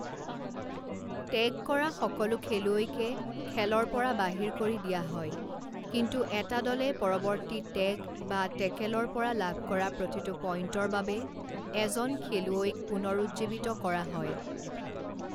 Tag কৰা সকলো খেলুৱৈকে খেলৰ পৰা বাহিৰ কৰি দিয়া হয় কিন্তু এটা দলে পৰৱৰ্তী টেগ বা টেকেলৰ পৰা লাভ কৰা প্ৰতিটো পইণ্টৰ বাবে এজন খেলুৱৈইক পুনৰুজ্জীৱিত কৰা হয়।